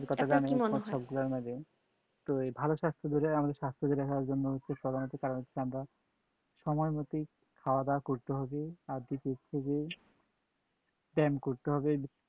তো এই ভালো স্বাস্থ্য যেটা আমাদের স্বাস্থ্য যেটা হওয়ার জন্য সময়মত কারণ হচ্ছে আমরা সময়মাফিক খাওয়াদাওয়া করতে হবে আর দ্বিতীয় হচ্ছে যে ব্যায়াম করতে হবে